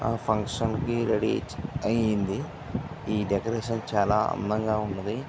Function కీ ready అయింది. ఈ డెకొరేషన్ చాలా అందంగా ఉంటది.